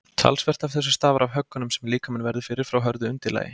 talsvert af þessu stafar af höggunum sem líkaminn verður fyrir frá hörðu undirlagi